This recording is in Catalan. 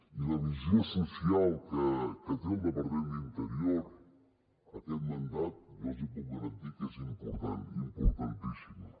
i la visió social que té el departament d’interior aquest mandat jo els puc garantir que és important importantíssima